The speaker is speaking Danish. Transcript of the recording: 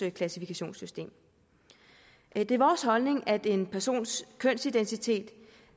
klassifikationssystem det er vores holdning at en persons kønsidentitet